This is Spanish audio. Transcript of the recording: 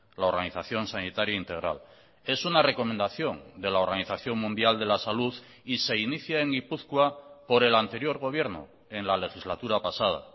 la organización sanitaria integral es una recomendación de la organización mundial de la salud y se inicia en gipuzkoa por el anterior gobierno en la legislatura pasada